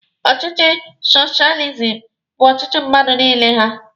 Ọchịchị soshializim bụ ọchịchị mmadụ niile ha.